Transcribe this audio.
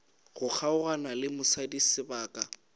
go kgaogana le mosadi sebaka